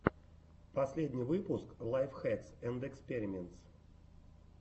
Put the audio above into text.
последний выпуск лайф хэкс энд эспериментс